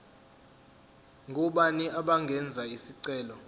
ngobani abangenza isicelo